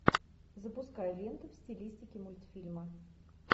запускай ленту в стилистике мультфильма